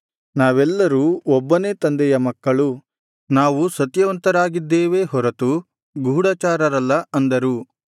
ನಾವೆಲ್ಲರೂ ಒಬ್ಬನೇ ತಂದೆಯ ಮಕ್ಕಳು ನಾವು ಸತ್ಯವಂತರಾಗಿದ್ದೇವೆ ಹೊರತು ಗೂಢಚಾರರಲ್ಲ ಅಂದರು